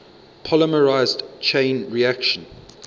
polymerase chain reaction